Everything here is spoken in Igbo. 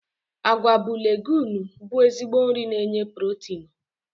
Agwa bụ leguumu bụ ezigbo nri na enye pulotinu.